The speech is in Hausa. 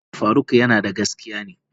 Ina ji faruk yanada gaskiya ne.